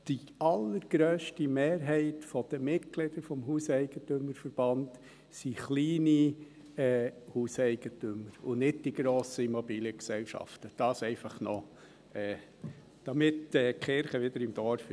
Die allergrösste Mehrheit der Mitglieder des HEV sind kleine Hauseigentümer, und nicht die grossen Immobiliengesellschaften – dies einfach noch, damit die Kirche wieder im Dorf ist.